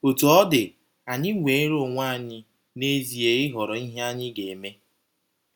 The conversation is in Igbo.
Otú ọ dị, ànyị nweere onwe anyị n’ezie ịhọrọ ihe anyị ga - eme?